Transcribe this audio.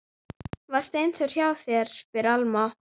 Var Steindór hjá þér, spyr Alma.